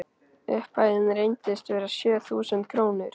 Upphæðin reyndist vera sjö þúsund krónur.